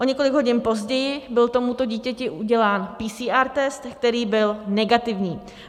O několik hodin později byl tomuto dítěti udělán PCR test, který byl negativní.